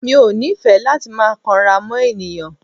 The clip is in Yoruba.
Mi ò nífẹ̀ẹ́ láti máa kanra mọ́ ènìyàn.